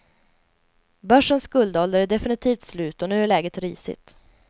Börsens guldålder är definitivt slut och nu är läget risigt.